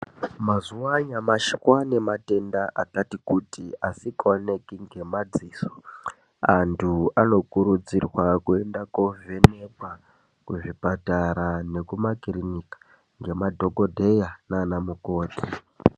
Mazuva anyamashi kwaane matenda akati kuti asingaoneki nemaziso, antu anokurudzirwa kuenda kovhenekwa kuzvipatara nekumakirinika ngemadhogodheya nanamukoti.